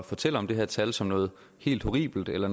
fortælle om det her tal som noget helt horribelt eller